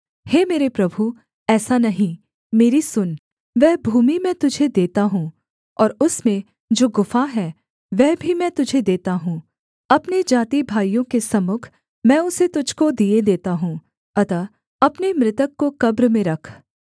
हे मेरे प्रभु ऐसा नहीं मेरी सुन वह भूमि मैं तुझे देता हूँ और उसमें जो गुफा है वह भी मैं तुझे देता हूँ अपने जातिभाइयों के सम्मुख मैं उसे तुझको दिए देता हूँ अतः अपने मृतक को कब्र में रख